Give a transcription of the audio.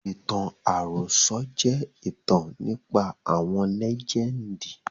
Ìtàn àròsọ̀ je ìtàn nípa àwọn lẹ́jẹndì